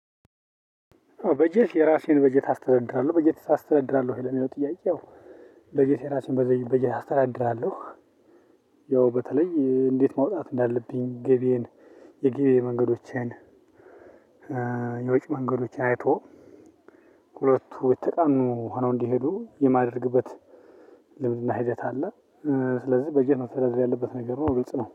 በጀት የራሴን በጀት አስተዳድራለሁ በጀት አስተዳድራለህ ወይ ለሚለው ጥያቄው? በጀት የራሴን በጀት አስተዳድራለሁ። ያው በተለይ እንዴት ማውጣት እንዳለብኝ ገቢየን የገቢ መንገዶችን። የወጭ መንገዶችን አይቶ። ሁለቱ የተቃኑ ሆነው እንዲሄዱ የማደርግበት ልምድና ሂደት አለ። ስለዚህ በጀት መተዳደር ያለበት ነገር ነው ግልጽ ነው